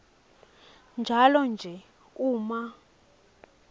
njalo nje uma